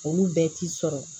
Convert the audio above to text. Olu bɛɛ t'i sɔrɔ